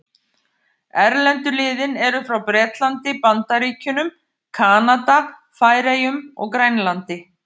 Erlendu liðin eru frá Bretlandi, Bandaríkjunum, Kanada, Færeyjum og Grænlandi.